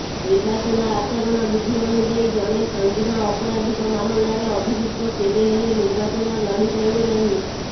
ନିର୍ବାଚନ ଆଚରଣ ବିଧି ଅନୁଯାୟୀ ଜଣେ ସଙ୍ଗିନ ଅପରାଧିକ ମାମଲାରେ ଅଭିଯୁକ୍ତ କେବେ ହେଲେ ନିର୍ବାଚନ ଲଢ଼ିପାରିବେ ନାହିଁ